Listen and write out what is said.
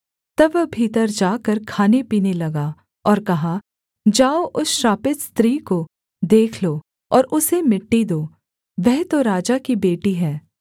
तब वह भीतर जाकर खानेपीने लगा और कहा जाओ उस श्रापित स्त्री को देख लो और उसे मिट्टी दो वह तो राजा की बेटी है